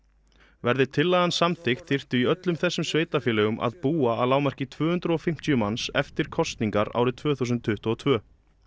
verði tillagan samþykkt þyrftu í öllum þessum sveitarfélögum að búa að lágmarki tvö hundruð og fimmtíu manns eftir kosningar árið tvö þúsund tuttugu og tvö